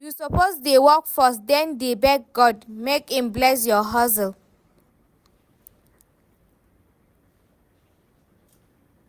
You suppose dey work first den dey beg God make im bless your hustle